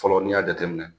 Fɔlɔ n'i y'a jateminɛ